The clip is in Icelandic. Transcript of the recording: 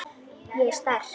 Ég er sterk.